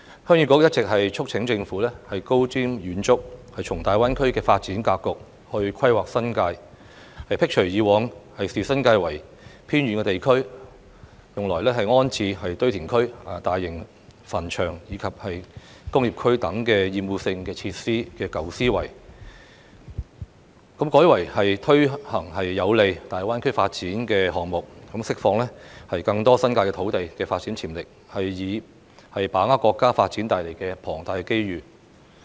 鄉議局一直促請政府高瞻遠矚，從大灣區的發展格局來規劃新界，摒除以往視新界為偏遠地區而用來安置堆填區、大型墳場及工業區等厭惡性設施的舊思維，改為推行有利大灣區發展的項目，釋放更多新界土地的發展潛力，以把握國家發展帶來的龐大機遇。